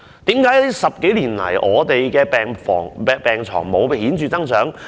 為何10多年來，病床數目沒有顯著增長？